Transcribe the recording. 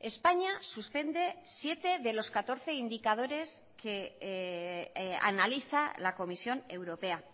españa suspende siete de los catorce indicadores que analiza la comisión europea